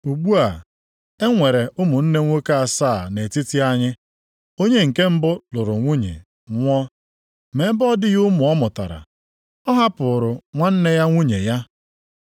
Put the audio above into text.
Ugbu a, e nwere ụmụnne nwoke asaa nʼetiti anyị. Onye nke mbụ lụrụ nwunye, nwụọ, ma ebe ọ dịghị ụmụ ọ mụtara, ọ hapụrụ nwanne ya nwunye ya.